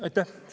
Aitäh!